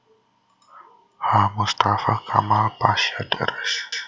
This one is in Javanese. H Mustafa Kamal Pasha Drs